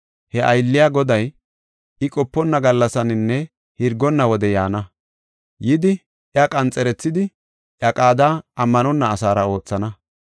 he aylliya goday, I qoponna gallasaninne hirgonna wode yaana. Yidi iya qanxerethidi, iya qaada ammanonna asaara oothana.